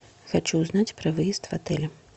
хочу узнать про выезд в отеле